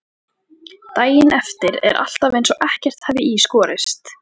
Daginn eftir er alltaf eins og ekkert hafi í skorist.